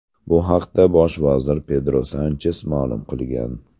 Bu haqda bosh vazir Pedro Sanches ma’lum qilgan.